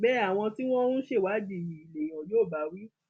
bẹẹ àwọn tí wọn ń ṣèwádìí yìí lèèyàn yóò bá wí